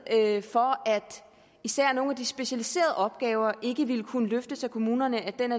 havde for at især nogle af de specialiserede opgaver ikke ville kunne løftes af kommunerne